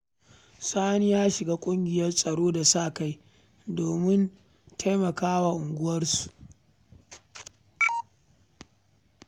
Sani ya shiga ƙungiyar tsaro ta sa-kai don taimakon unguwarsu